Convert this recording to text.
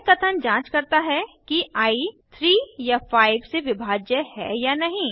यह कथन जांच करता है कि आई 3 या 5 से विभाज्य है या नहीं